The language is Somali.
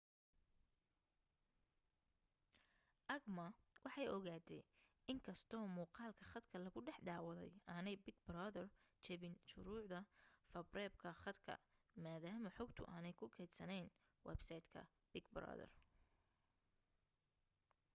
acma waxay ogaatay in inkastoo muuqalka khadka lagu dhex daawaday aanay big brother jebin shuruucda faafreebka khadka maadaama xogtu aanay ku kaydsanayn websaytka big brother